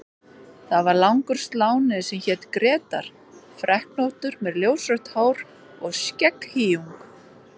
Það var langur sláni sem hét Grétar, freknóttur með ljósrautt hár og skegghýjung.